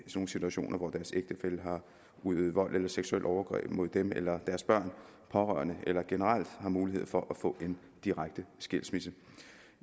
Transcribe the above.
nogle situationer hvor deres ægtefælle har udøvet vold eller seksuelle overgreb mod dem eller deres børn pårørende eller børn generelt har mulighed for at få en direkte skilsmisse